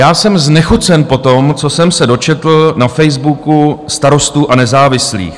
Já jsem znechucen po tom, co jsem se dočetl na Facebooku Starostů a nezávislých.